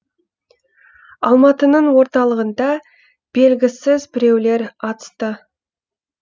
алматының орталығында белгісіз біреулер атысты